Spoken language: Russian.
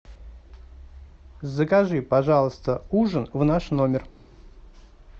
закажи пожалуйста ужин в наш номер